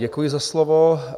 Děkuji za slovo.